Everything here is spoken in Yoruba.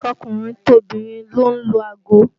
Tọkùnrin tobìnrin ló ń lo ago